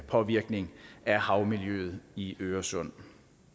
påvirkning af havmiljøet i øresund